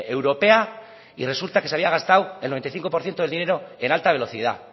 europea y resulta que se había gastado el noventa y cinco por ciento del dinero en alta velocidad